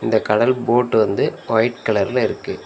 இந்த கடல் போட் வந்து ஒயிட் கலர்ல இருக்கு.